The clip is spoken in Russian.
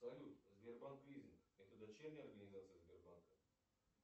салют сбербанк вижн это дочерняя организация сбербанка